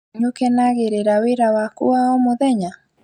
Nĩũkenagĩrĩra wĩra waku wa o mũthenya?